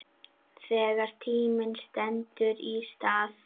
Þegar tíminn stendur í stað